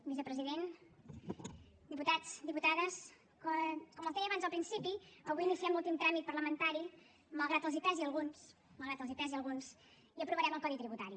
vicepresident diputats diputades com els deia abans al principi avui iniciem l’últim tràmit parlamentari malgrat que els pesi a alguns malgrat que els pesi a alguns i aprovarem el codi tributari